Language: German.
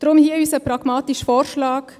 Deshalb hier unser pragmatischer Vorschlag.